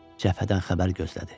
Cəbhədən xəbər gözlədi.